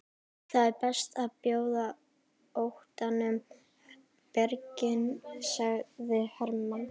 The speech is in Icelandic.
Það er best að bjóða óttanum birginn, sagði Hermann.